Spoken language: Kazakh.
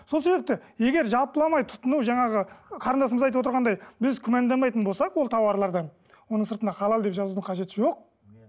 сол себепті егер жалпыламай тұтыну жаңағы қарындасымыз айтып отырғандай біз күмәнданбайтын болсақ ол тауарлардан оның сыртына халал деп жазудың қажеті жоқ